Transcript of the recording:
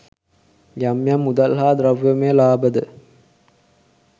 යම් යම් මුදල් හා ද්‍රව්‍යමය ලාභයද